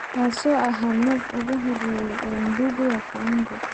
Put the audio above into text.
kaas oo ahaa nove ugu horeeyay ee Ngugi wa Thiongo